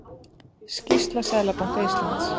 Skýrsla Seðlabanka Íslands